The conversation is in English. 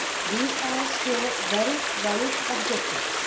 These are still very valid objectives.